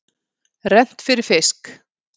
Rennt fyrir fisk.